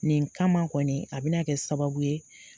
Nin kama kɔni a bɛ na kɛ sababu ye